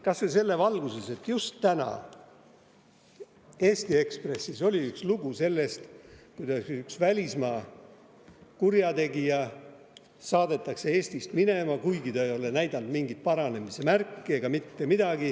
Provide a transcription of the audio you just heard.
Kas või selles valguses, et just täna oli Eesti Ekspressis lugu sellest, kuidas üks välismaa kurjategija saadetakse Eesti minema, kuigi ta ei ole näidanud mingit paranemise märki.